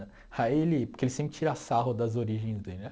Aí ele, porque ele sempre tira sarro das origens dele, né?